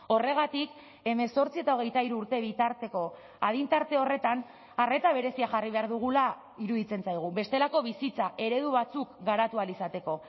horregatik hemezortzi eta hogeita hiru urte bitarteko adin tarte horretan arreta berezia jarri behar dugula iruditzen zaigu bestelako bizitza eredu batzuk garatu ahal izateko